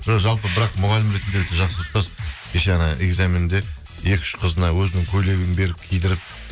жоқ жалпы бірақ мұғалім ретінде өте жақсы ұстаз кеше экзаменде екі үш қызына өзінің көйлегін беріп кидіріп